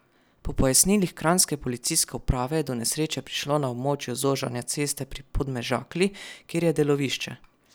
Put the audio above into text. Po pojasnilih kranjske policijske uprave je do nesreče prišlo na območju zožanja ceste pri Podmežakli, kjer je delovišče.